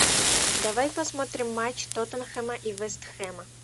давай посмотрим матч тоттенхэма и вест хэма